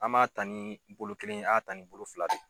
An m'a ta ni bolo kelen ye an y'a ta ni bolo fila de ye.